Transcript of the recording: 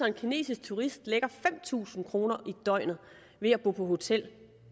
en kinesisk turist lægger fem tusind kroner i døgnet ved at bo på hotel